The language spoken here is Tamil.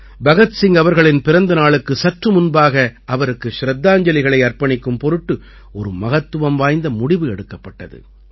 பகத் சிங் அவர்களின் பிறந்த நாளுக்கு சற்று முன்பாக அவருக்கு சிரத்தாஞ்ஜலிகளை அர்ப்பணிக்கும் பொருட்டு ஒரு மகத்துவம் வாய்ந்த முடிவு எடுக்கப்பட்டது